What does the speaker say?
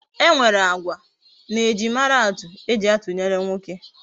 E nwere agwa na ejimara atu eji atunyere nwoke. E